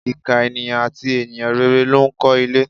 Ìkà ènìyàn àti e̩ni rere ló ń ko̩ ilé.